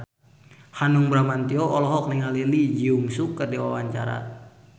Hanung Bramantyo olohok ningali Lee Jeong Suk keur diwawancara